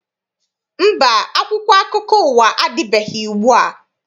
Mba, akwụkwọ akụkọ ụwa adịbeghị ugbua.